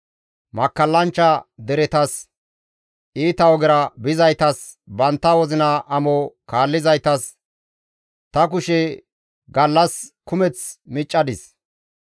Makkallanchcha deretas, iita ogera bizaytas, bantta wozina amo kaallizaytas, ta kushe gallas kumeth miccadis.